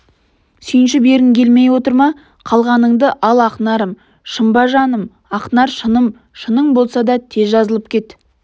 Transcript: сүйінші бергің келмей отыр ма қалғаныңды ал ақнарым шын ба шыным ақнар шыным шының болса тез жазылып кет